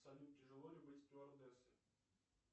салют тяжело ли быть стюардессой